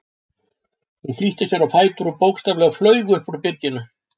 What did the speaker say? Hún flýtti sér á fætur og bókstaflega flaug upp úr byrginu.